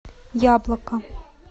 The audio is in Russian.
яблоко